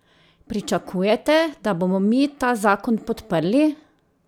Pričakujete, da bomo mi ta zakon podprli?